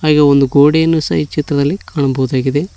ಈ ಒಂದು ಗೋಡೆಯನ್ನು ಸಹ ಈ ಚಿತ್ರದಲ್ಲಿ ಕಾಣಬಹುದಾಗಿದೆ.